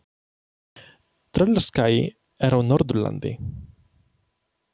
Tröllaskagi er á Norðurlandi.